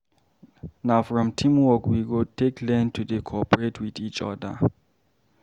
Na from teamwork we go take learn to dey cooporate with each oda.